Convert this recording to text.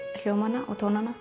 hljómana og tónana